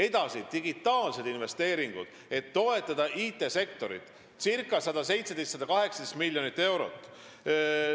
Edasi: ca 117–118 miljonit eurot investeeringuid digiarendusteks, et toetada IT-sektorit.